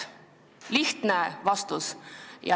Palun lihtsat vastust.